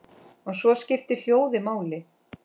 Og svo skiptir hljóðið máli.